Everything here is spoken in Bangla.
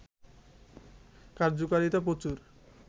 কার্যকারিতা প্রচুর